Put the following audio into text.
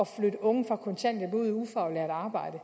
flytte unge fra kontanthjælp ud i ufaglært arbejde